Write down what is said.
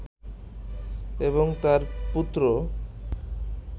এবং তার পুত্র